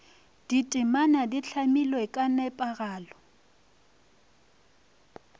ditemana di hlamilwe ka nepagalo